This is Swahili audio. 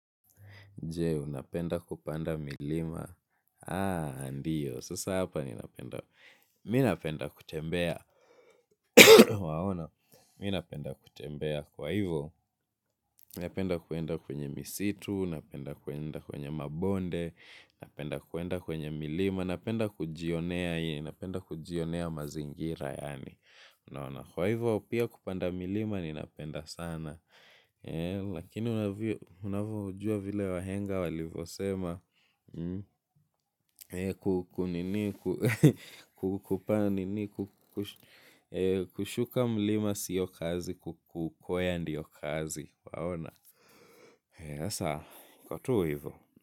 Je, unapenda kupanda milima. Ndiyo. Sasa hapa ninapenda. Mimi napenda kutembea. Waona. Mimi napenda kutembea. Kwa hivyo, napenda kwenda kwenye misitu. Napenda kwenda kwenye mabonde. Napenda kuenda kwenye milima. Napenda kujionea. Napenda kujionea mazingira yaani. Unaona kwa hivyo, pia kupanda milima ninapenda sana. Lakini unavyojua vile wahenga walivyosema. Kunini, kupaa nini, kushuka mlima siyo kazi, kukwea ndiyo kazi, waona, sasa iko tu hivyo.